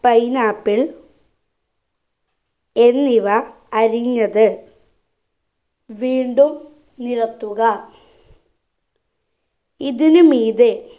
pineapple എന്നിവ അരിഞ്ഞത് വീണ്ടും നിരത്തുക ഇതിനുമീതെ